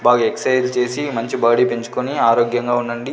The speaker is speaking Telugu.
బాగా ఎక్సైజ్ చేసి మంచి బాడీ పెంచుకొని ఆరోగ్యంగా ఉండండి.